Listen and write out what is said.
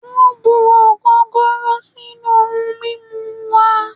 Wọn bu ogogoro sinu oun mimu wa